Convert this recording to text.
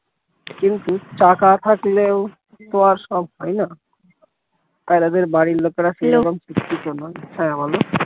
কিন্তু চাকা থাকলেও তো আর সব হয়না তাইরা দের বাড়ির লোকেরা সেরকম শিক্ষিত নয় হ্যাঁ বলো